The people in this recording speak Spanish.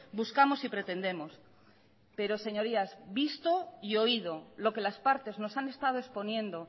buscamos y pretendemos pero señorías visto y oído lo que las partes nos han estado exponiendo